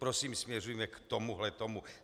Prosím, směřujme k tomuhle tomu.